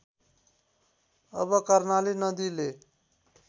अब कर्णाली नदीले